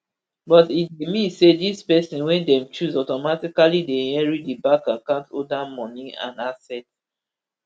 but e dey mean say dis pesin wey dem choose automatically dey inherit di bank account holder moni and assets